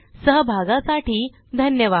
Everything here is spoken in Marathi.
सहभागासाठी धन्यवाद